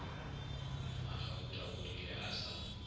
mmagauta o rile a sa